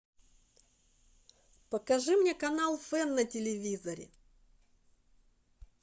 покажи мне канал фэн на телевизоре